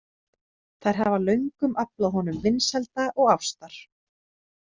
Þær hafa löngum aflað honum vinsælda og ástar.